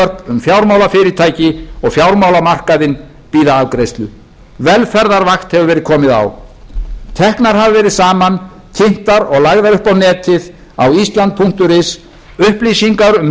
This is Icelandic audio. um fjármálafyrirtæki og fjármálamarkaðinn bíða afgreiðslu velferðarvakt hefur verið komið á teknar hafa verið saman kynntar og lagðar upp á netið á island punktur is upplýsingar um stöðu